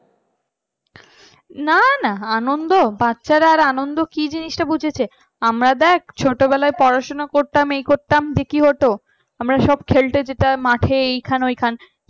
নানা আনন্দ বাচ্চারা আর আনন্দের কি জিনিসটা বুঝেছে আমরা দেখ ছোটবেলায় পড়াশোনা করতাম এই করতাম দিয়ে কি হতো আমরা সব খেলতে যেতাম মাঠে এইখানে ওইখানে